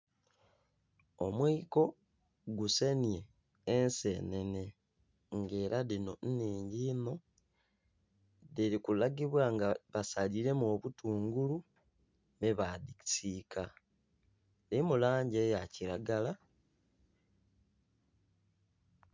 Omwiko gusenhye ensenene, ng'ela dhino nnhingi inho. Dhili kulagibwa nga basaliiremu obutungulu, me basiika. Dhilimu langi eya kilagala...